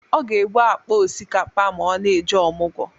Ọ ga-ebu akpa ọsikapa ma ọ na-eje ọmụgọ.